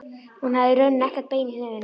Hún hafði í rauninni ekkert bein í nefinu.